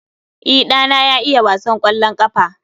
E, ɗana ya iya wasan kwallon ƙafa